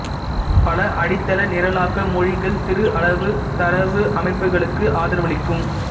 பல அடிதள நிரலாக்க மொழிகள் சிறு அளவு தரவமைப்புகளுக்கு ஆதரவளிக்கும்